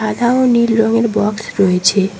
সাদা ও নীল রঙের বক্স রয়েছে।